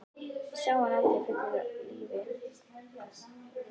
Ég sá hann aldrei aftur á lífi.